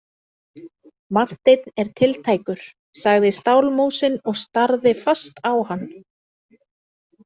Marteinn er tiltækur, sagði stálmúsin og starði fast á hann.